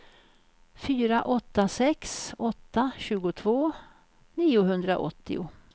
fyra åtta sex åtta tjugotvå niohundraåttio